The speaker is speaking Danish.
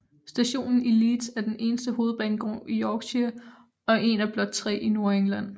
Stationen i Leeds er den eneste hovedbanegård i Yorkshire og en af blot tre i Nordengland